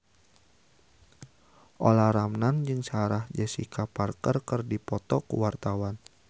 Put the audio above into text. Olla Ramlan jeung Sarah Jessica Parker keur dipoto ku wartawan